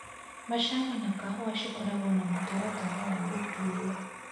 Macani na kahũa cikoragwo na mũtaratara wa gũtuo.